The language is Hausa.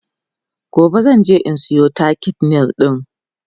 gobe zan je in Sayo takin nail ɗin